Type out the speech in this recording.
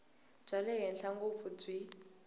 bya le henhla ngopfu byi